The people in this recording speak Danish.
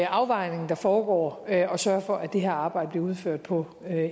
afvejning der foregår at sørge for at det her arbejde bliver udført på